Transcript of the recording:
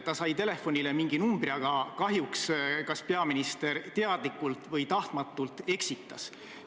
Talle saadeti telefonile mingi number, aga kahjuks peaminister teadlikult või tahtmatult eksitas.